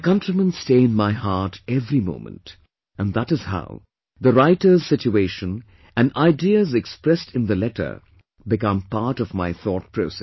My countrymen stay in my heart every moment and that is how the writer's situation and ideas expressed in the letter become part of my thought process